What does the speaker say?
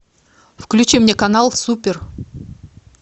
включи мне канал супер